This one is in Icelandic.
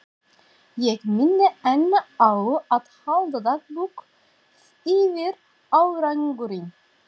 Ég minni enn á að halda dagbók yfir árangurinn.